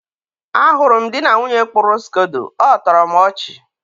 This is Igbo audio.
a hụrụ m di na nwunye kpụrụ skodo. ọ tọrọ m ọchị.